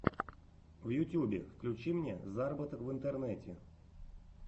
в ютьюбе включи мне заработок в интернете